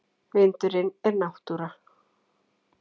Vindurinn er náttúra.